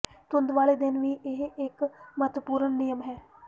ਧੁੱਪ ਵਾਲੇ ਦਿਨ ਵੀ ਇਹ ਇਕ ਮਹੱਤਵਪੂਰਣ ਨਿਯਮ ਹੈ